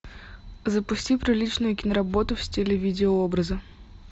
запусти приличную киноработу в стиле видео образа